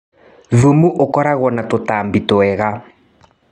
Thumu ũkoragwo na tũtambi twega.